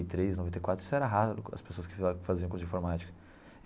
Três noventa e quatro Isso era raro, as pessoas que fa faziam curso de informática.